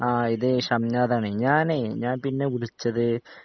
ആ ഇത് ഷംനാദാണ് ഞാനേ ഞാൻ പിന്നെ വിളിച്ചത്